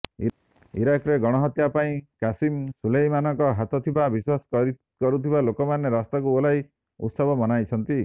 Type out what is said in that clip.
ଇରାକରେ ଗଣହତ୍ୟା ପାଇଁ କାସିମ ସୁଲେଇମାନଙ୍କ ହାତ ଥିବା ବିଶ୍ବାସ କରୁଥିବା ଲୋକମାନେ ରାସ୍ତାକୁ ଓହ୍ଲାଇ ଉତ୍ସବ ମନାଇଛନ୍ତି